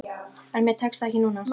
En mér tekst það ekki núna.